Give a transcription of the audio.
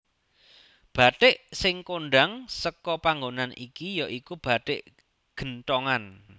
Bathik sing kondhang seka panggonan iki ya iku bathik genthongan